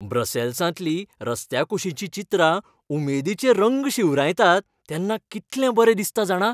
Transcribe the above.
ब्रसॅल्सांतलीं रस्त्याकुशीचीं चित्रां उमेदीचे रंग शिंवरायतात तेन्ना कितलें बरें दिसता जाणा.